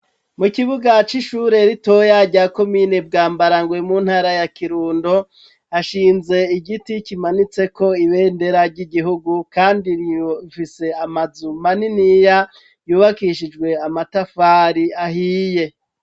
Mu kibuga c'ishure ritoya rya komine Bwambarangwe mu ntara ya Kirundo ashinze igiti kimanitse ko ibendera ry'igihugu kandi rifise amazu maniniya yubakishijwe amatafari ahiye.